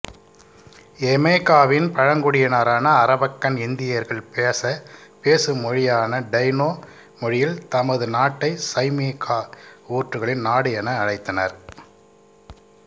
யமேக்காவின் பழங்குடியினரான அரவக்கன் இந்தியர்கள் பேசு மொழியான டைனொ மொழியில் தமது நாட்டை சைமேக்கா ஊற்றுகளின் நாடு என அழைத்தனர்